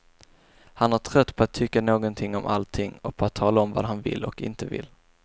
Han är trött på att tycka någonting om allting och på att tala om vad han vill och inte vill.